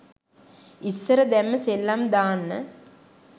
ඉස්සර දැම්ම සෙල්ලම් දාන්න